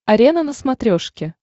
арена на смотрешке